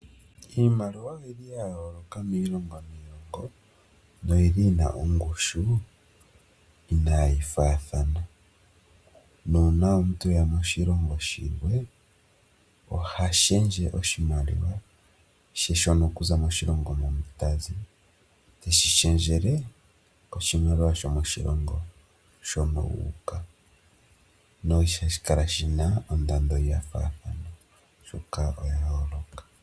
Iimaliwa oyi li ya yooloka miilongo niilongo no yi li yina ongushu inaayi faathana nuuna omuntu eya moshilongo shimwe oha shendje oshimaliwa she shono okuza ko shimaliwa mo shilongo mono tazi teshi shendjele moshimaliwa shomo shilongo mono uuka no ha shi kala shina ondando yayooloka thana oshoka oya yooloka.